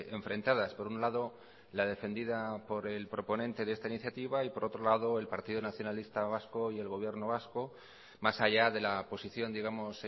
enfrentadas por un lado la defendida por el proponente de esta iniciativa y por otro lado el partido nacionalista vasco y el gobierno vasco más allá de la posición digamos